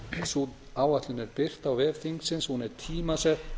sú áætlun er birt á vef þingsins hún er tímasett